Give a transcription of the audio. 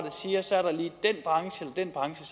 den branche